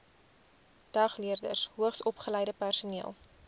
dagleerders hoogsopgeleide personeel